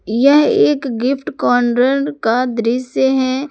यह एक gift corner का दृश्य है।